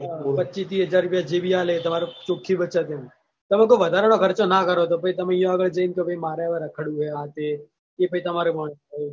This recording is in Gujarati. પચીસ તીસ હજાર રૂપયા જે બી આલે એ તમારે ચોખી બચત એમ તમે કોઈ વધારાનો ખર્ચો ના કરો તો પહી તમે ઈયો આગળ જઈને કે ભાઈ મારે રખડવું હે આ તે એ પછી તમારે